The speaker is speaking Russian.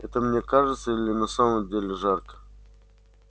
это мне кажется или на самом деле жарко